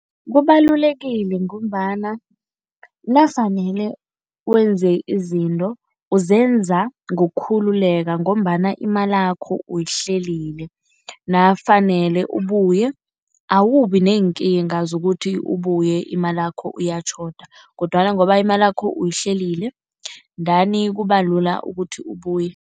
Kubalulekile ngombana nafanele wenze izinto, uzenza ngokukhululeka ngombana imalakho uyihlelile. Nafanele ubuye awubi neenkinga zokuthi ubuye imalakho iyatjhoda kodwana ngoba imalakho uyihlelile ndani kubalula ukuthi ubuye.